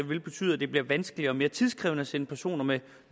vil betyde at det bliver vanskeligere og mere tidkrævende at sende personer med